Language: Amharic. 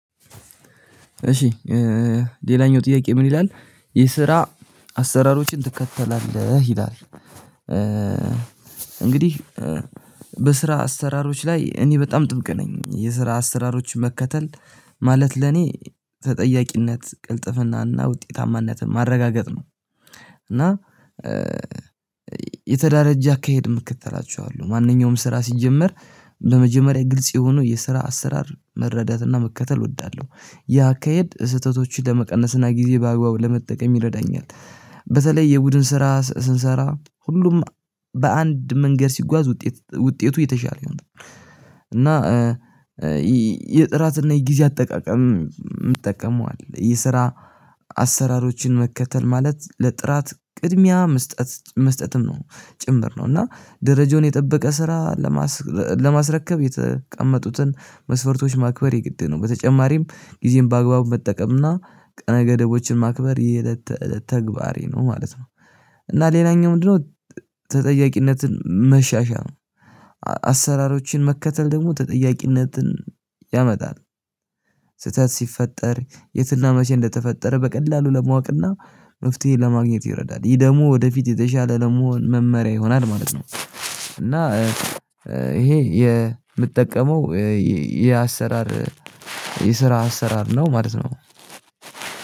እሺ ሌላኛው ጥያቄ ምን ይላል? የስራ አሰራሮችን ትከተላለህ ይላል። እንግዲህ በስራ አሰራሮች ላይ እኔ በጣም ጥብቅ ነኝ የስራ አስራሮች መከተል ማለት ለኔ ተጠያቂነት ቅልጥፍናና ውጤታማነትን ማረጋገጥ ነው። እና የተደራጀ አካሄድ ምከተላቸሁ አሉ ማንኛውም ስራ ሲጀመር በመጀመሪያ ግልጽ የሆነው የስራ አሰራር መረዳትና መከተል እወዳለሁ ይህ አካሄድ ስህተቶችን ለመቀነስና ጊዜ በአግባቡ ለመጠቀም ይረዳኛል። በተለይ የቡድን ስራ ስንሰራ ሁሉም በአንድ መንገድ ሲጓዝ ውጤት ውጤቱ የተሻለ ይሆናል። እና የጥራትና የጊዜ አጠቃቀም እምጠቀመው አለ የስራ አሰራሮችን መከተል ማለት ለጥራት ቅድሚያ መስጠት መስጠትም ነው ጭምር ነው እና ደረጃውን የጠበቀ ስራ ለማስረከብ የተቀመጡትን መስፈርቶች ማክበር የግድ ነው። በተጨማሪም ጊዜን በአግባቡ መጠቀምና ቀነ ገደቦችን ማክበር የእለት ተእለት ተግባሬ ነው ማለት ነው። እና ሌላኛው ምንድነው? ተጠያቂነትን መሻሻል አሰራሮችን መከተል ደግሞ ተጠያቂነትን ያመጣል። ስህተት ሲፈጠር የት እና መቼ እንደ ተፈጠረ በቀላሉ ለማወቅ እና መፍትሄ ለማግኘት ይረዳል ይህ ደግሞ ወደፊት የተሻለ ለመሆን መመሪያ ይሆናል ማለት ነው። እና ይሄ የምጠቀመው የአሰራር የስራ አሰራር ነው ማለት ነው።